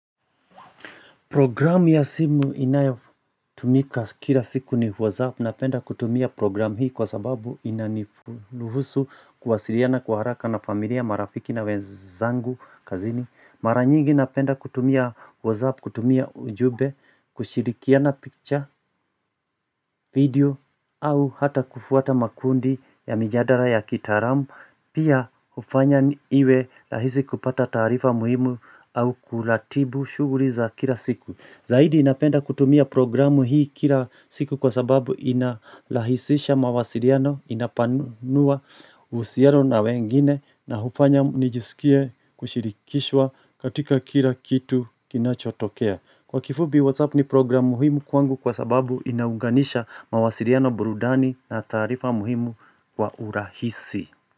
Programu ya simu inayafutumika kila siku ni WhatsApp. Napenda kutumia program hii kwa sababu inani ruhusu kwasiliana kwa haraka na familia marafiki na wenzangu kazini. Mara nyingi napenda kutumia WhatsApp, kutumia ujumbe, kushirikiana picture, video, au hata kufuata makundi ya mijadala ya kitaalamu. Pia hufanya iwe rahisi kupata taarifa muhimu au kuratibu shughuli za kila siku. Zaidi napenda kutumia programu hii kila siku kwa sababu inalahisisha mawasiriano inapanua uhusiano na wengine na hufanya nijisikie kushirikishwa katika kila kitu kinachotokea. Kwa kifupi WhatsApp ni programu muhimu hii kwangu kwa sababu inaunganisha mawasiliano burudani na taarifa muhimu kwa urahisi.